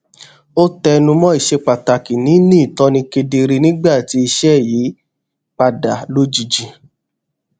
ó tẹnumó iṣepàtàkì nini itọni kedere nígbà tí iṣé yí padà lojiji